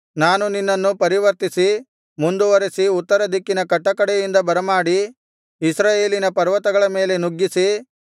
ನಾನು ನಿನ್ನನ್ನು ಪರಿವರ್ತಿಸಿ ಮುಂದುವರಿಸಿ ಉತ್ತರದಿಕ್ಕಿನ ಕಟ್ಟಕಡೆಯಿಂದ ಬರಮಾಡಿ ಇಸ್ರಾಯೇಲಿನ ಪರ್ವತಗಳ ಮೇಲೆ ನುಗ್ಗಿಸಿ